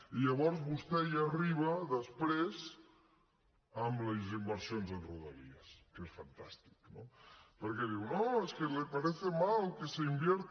i llavors vostè hi arriba després amb les inversions en rodalies que és fantàstic no perquè diu no es que le parece mal que se invierta